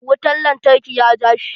Wutan lantarki ya ja shi.